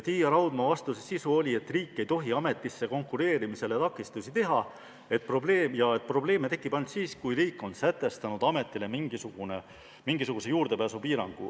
Tiia Raudma vastas, et riik ei tohi ametisse konkureerimisele takistusi teha ja et probleeme tekib ainult siis, kui riik on sätestanud ametile mingisuguse juurdepääsupiirangu.